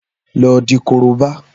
Lọ di korobá!